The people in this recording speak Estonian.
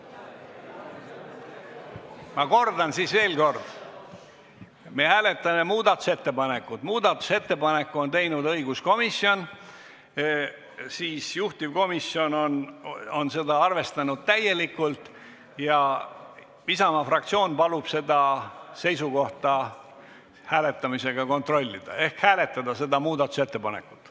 Ma kordan veel kord: me hääletame muudatusettepanekut, mille on teinud õiguskomisjon, juhtivkomisjon on seda arvestanud täielikult ja Isamaa fraktsioon palub seda seisukohta hääletamisega kontrollida ehk hääletada seda muudatusettepanekut.